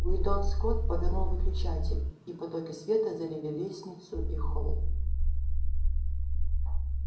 уидон скотт повернул выключатель и потоки света залили лестницу и холл